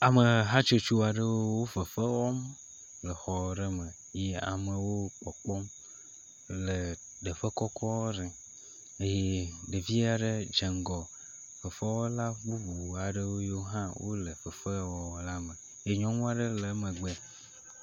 ame hatsotso aɖewo fefewɔm le xɔ ɖe me ye amewo kpɔkpɔm le teƒe kɔkɔ ɖe eye ɖeviaɖe dzeŋgɔ fefewɔla bubu aɖewo yo hã le fefe wɔna me ye nyɔŋuɔ ɖe le emegbe